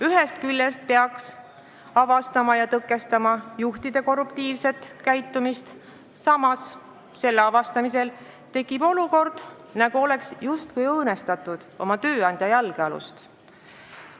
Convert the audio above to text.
Ühest küljest peaksid nad avastama ja tõkestama juhtide korruptiivset käitumist, samas tekib selle avastamisel olukord, et oleks justkui õõnestatud oma tööandja jalgealust.